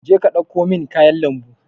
je ka ɗauko min kayan lambu.